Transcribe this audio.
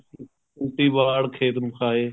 ਉੱਲਟੀ ਬਾੜ ਖੇਤ ਨੂੰ ਖਾਏ